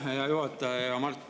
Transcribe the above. Aitäh, hea juhataja!